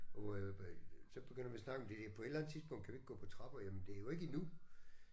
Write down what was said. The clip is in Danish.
Og øh så begynder vi at snakke om det der på et eller andet tidspunkt kan vi ikke gå på trapper jamen det er jo ikke endnu